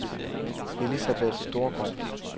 Elisabeth Storgaard